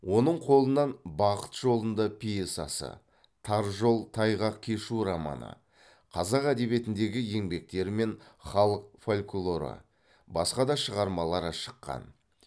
оның қолынан бақыт жолында пьесасы тар жол тайғақ кешу романы қазақ әдебиетіндегі еңбектері мен халық фольклоры басқа да шығармалары шыққан